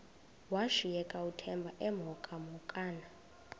washiyeka uthemba emhokamhokana